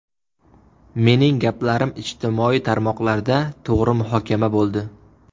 Mening gaplarim ijtimoiy tarmoqlarda to‘g‘ri muhokama bo‘ldi.